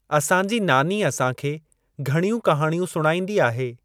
असांजी नानी असांखे घणियूं कहाणियूं सुणाईंदी आहे।